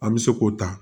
An bɛ se k'o ta